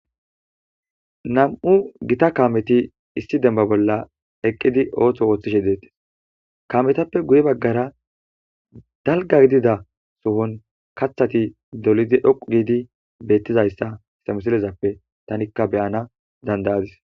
Nam7u gita kaameti issi demba bolla eqqidi ootho wooththishe deettes kaametappe guye baggara dalga gidida sohon kaththati dolidi hoqu giidi beettizayssa histamusillezappe tanikka beyana dandayadis